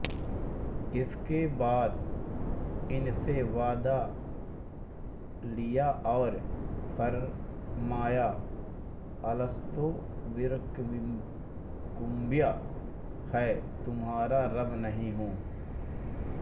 इसके बाद इनसे वादा लिया और फ़रमाया अलस्तो बिरब्बिकुमक्या मैं तुम्हारा रब नहीं हूँ